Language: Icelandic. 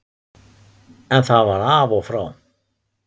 En það var af og frá.